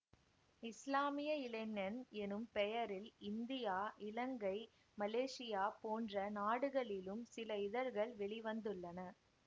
இஸ்லாமிய இளைஞன் எனும் பெயரில் இந்தியா இலங்கை மலேசியா போன்ற நாடுகளிலும் சில இதழ்கள் வெளி வந்துள்ளன